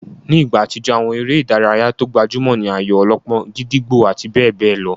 Nígbà àtijó, àwọn eré ìdárayá tó gbajúmọ̀ ní ayò-ọlọ́pọ́n, gídígbò àti bẹ́ẹ̀ bẹ́ẹ̀ lọ.